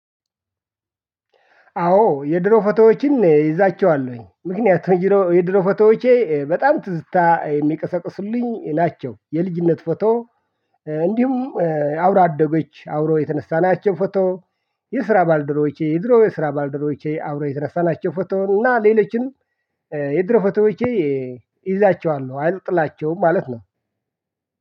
አዎ የድሮ ፎቶዎችን ይዛቸዋለሁኝ ምክንያቱም የድሮ ፎቶዎቼ በጣም ትዝታ የሚቀሰቅሱልኝ ናቸው የልጅነት ፎቶ እንዲሁም አብሮ አደጎች አብሮ የተነሳናቸው ፎቶ። የስራ ባልደረቦቼ የድሮ የስራ ባልደረቦቼ አብሮ የተነሳናቸው ፎቶ እና ሌሎችን የድሮ ፎቶዎቼ እይዛቸዋለሁ አልጥላቸውም ማለት ነው